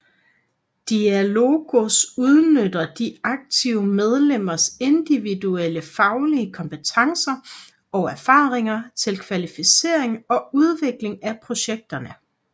Diálogos udnytter de aktive medlemmers individuelle faglige kompetencer og erfaringer til kvalificering og udvikling af projekterne